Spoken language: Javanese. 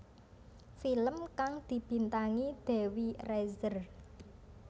Film kang dibintangi Dewi Rezer